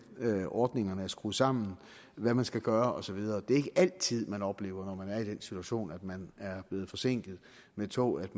ordningerne er skruet sammen hvad man skal gøre og så videre det er ikke altid man oplever når man er i den situation at man er blevet forsinket af et tog at